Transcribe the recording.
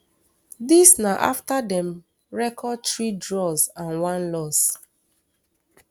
dis na afta dem record three draws and one loss